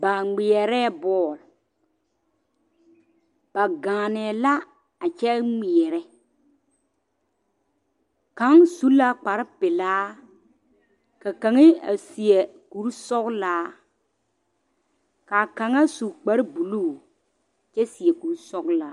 Ba ŋmeɛrɛɛ bɔɔl, ba gaanɛɛ la a kyɛ ŋmeɛrɛ, kaŋ su la kpare pelaa ka kaŋa a seɛ kuri sɔgelaa k'a kaŋa su kpare buluu kyɛ seɛ kuri sɔgelaa.